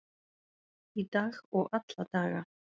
Í dag og alla daga.